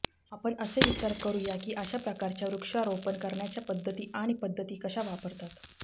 आपण असे विचार करू या की अशा प्रकारच्या वृक्षारोपण करण्याच्या पद्धती आणि पद्धती कशा वापरतात